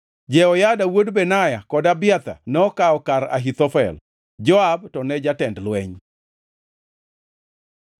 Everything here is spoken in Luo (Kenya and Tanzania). (Jehoyada wuod Benaya kod Abiathar nokawo kar Ahithofel.) Joab to ne jatend jolweny.